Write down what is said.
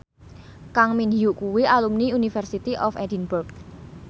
Kang Min Hyuk kuwi alumni University of Edinburgh